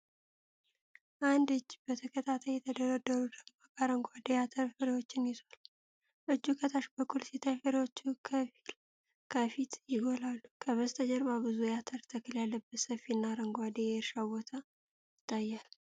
አንድ እጅ በተከታታይ የተደረደሩ ደማቅ አረንጓዴ የአተር ፍሬዎችን ይዟል። እጁ ከታች በኩል ሲታይ፣ ፍሬዎቹ ከፊት ይጎላሉ። ከበስተጀርባ ብዙ የአተር ተክል ያለበት ሰፊና አረንጓዴ የእርሻ ቦታ ይታያል።